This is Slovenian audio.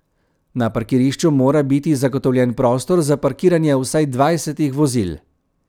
Na parkirišču mora biti zagotovljen prostor za parkiranje vsaj dvajsetih vozil.